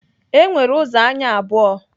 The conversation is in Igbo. E nwere ụzọ anya abụọ